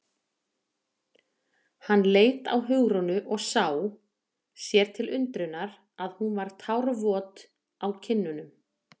Hann leit á Hugrúnu og sá, sér til undrunar, að hún var tárvot á kinnunum.